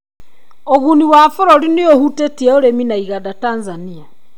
Ũguni wa bũrũri nĩ ũhutĩtie ũrĩmi na iganda Tanzania.